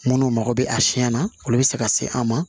Minnu mago bɛ a siɲɛ na olu bɛ se ka se an ma